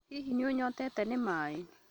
Hihi nĩ ũnyotete nĩ maĩ?